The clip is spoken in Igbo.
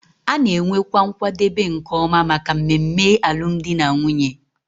A na-enwekwa nkwadebe nke ọma maka mmemme alụmdi na nwunye